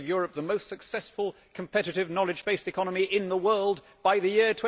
It was going to give Europe the most successful, competitive, knowledge based economy in the world by the year